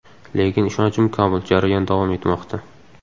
Lekin ishonchim komil, jarayon davom etmoqda.